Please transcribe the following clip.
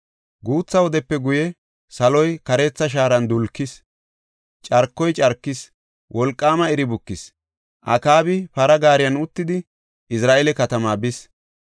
Guutha wodepe guye saloy kareetha shaaran dulkis; carkoy carkis; wolqaama iri bukis. Akaabi para gaariyan uttidi Izra7eela katamaa bis.